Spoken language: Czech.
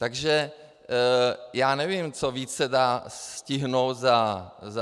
Takže já nevím, co víc se dá stihnout za sto dní.